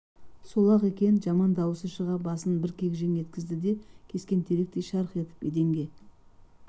сол-ақ екен деп жаман дауысы шыға басын бір кекіжең еткізді де кескен теректей шарқ етіп еденге